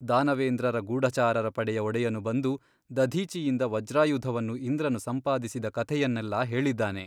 ದಾನವೇಂದ್ರರ ಗೂಢಚಾರರ ಪಡೆಯ ಒಡೆಯನು ಬಂದು ದಧೀಚಿಯಿಂದ ವಜ್ರಾಯುಧವನ್ನು ಇಂದ್ರನು ಸಂಪಾದಿಸಿದ ಕಥೆಯನ್ನೆಲ್ಲಾ ಹೇಳಿದ್ದಾನೆ.